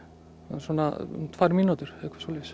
svona um tvær mínútur eða eitthvað svoleiðis